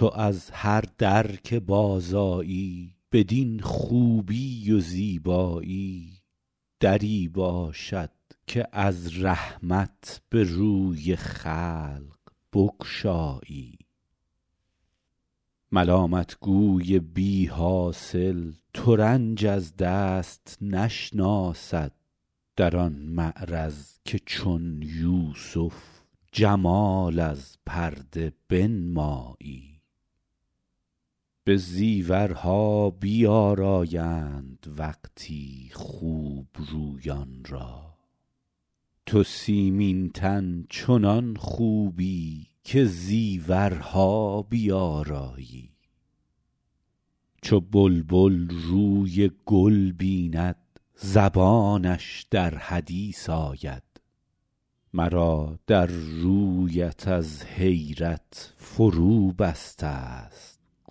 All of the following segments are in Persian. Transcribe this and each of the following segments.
تو از هر در که بازآیی بدین خوبی و زیبایی دری باشد که از رحمت به روی خلق بگشایی ملامت گوی بی حاصل ترنج از دست نشناسد در آن معرض که چون یوسف جمال از پرده بنمایی به زیورها بیآرایند وقتی خوب رویان را تو سیمین تن چنان خوبی که زیورها بیآرایی چو بلبل روی گل بیند زبانش در حدیث آید مرا در رویت از حیرت فروبسته ست گویایی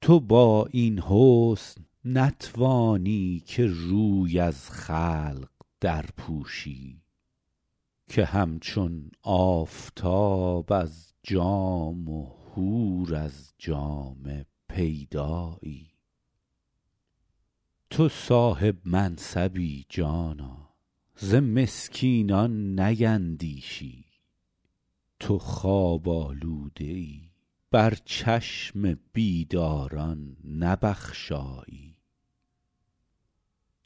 تو با این حسن نتوانی که روی از خلق درپوشی که همچون آفتاب از جام و حور از جامه پیدایی تو صاحب منصبی جانا ز مسکینان نیندیشی تو خواب آلوده ای بر چشم بیداران نبخشایی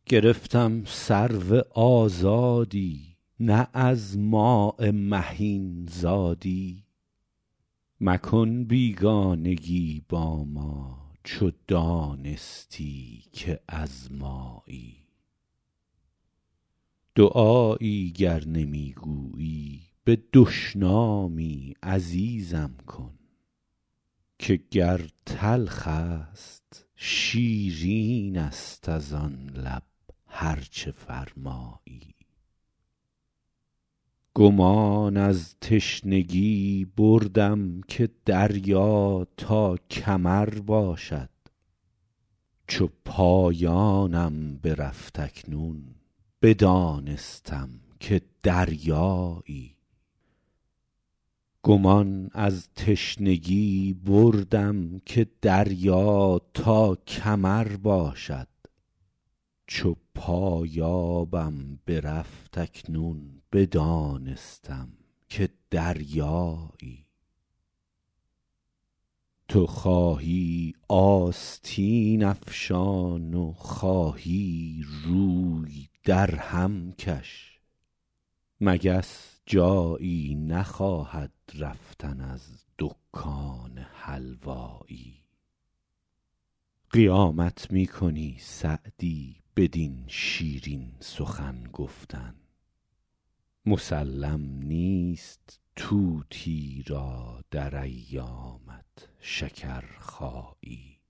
گرفتم سرو آزادی نه از ماء مهین زادی مکن بیگانگی با ما چو دانستی که از مایی دعایی گر نمی گویی به دشنامی عزیزم کن که گر تلخ است شیرین است از آن لب هر چه فرمایی گمان از تشنگی بردم که دریا تا کمر باشد چو پایانم برفت اکنون بدانستم که دریایی تو خواهی آستین افشان و خواهی روی درهم کش مگس جایی نخواهد رفتن از دکان حلوایی قیامت می کنی سعدی بدین شیرین سخن گفتن مسلم نیست طوطی را در ایامت شکرخایی